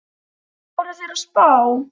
Hvað voru þeir að spá?